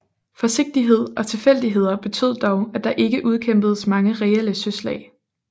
Forsigtighed og tilfældigheder betød dog at der ikke udkæmpedes mange reelle søslag